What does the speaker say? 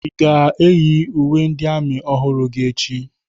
Ị ga-eyi uwe ndị amị ọhụrụ gị echi?